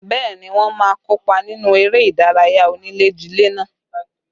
Bẹẹ ni, wọ́n má kópa nínú eré ìdárayá onílé-jilé náà